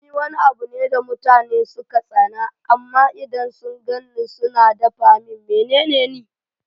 Ni Wani abune da mutane suka tsana amma idan sun gani suna tafa min menene Ni?